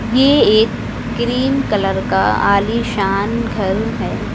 ये एक cream colour का आलीशान घर है।